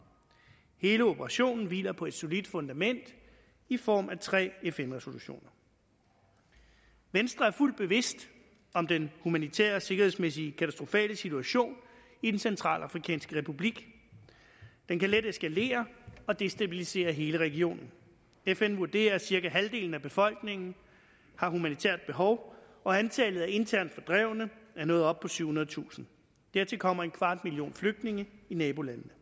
hele operationen hviler på et solidt fundament i form af tre fn resolutioner venstre er fuldt bevidst om den humanitært og sikkerhedsmæssigt katastrofale situation i den centralafrikanske republik den kan let eskalere og destabilisere hele regionen fn vurderer at cirka halvdelen af befolkningen har humanitært behov og antallet af internt fordrevne er nået op på syvhundredetusind dertil kommer en kvart million flygtninge i nabolandene